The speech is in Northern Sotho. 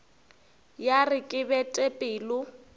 ya re ke bete pelo